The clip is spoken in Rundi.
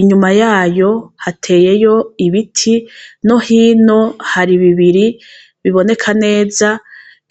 inyuma yayo hateyeyo ibiti no hino hari bibiri biboneka neza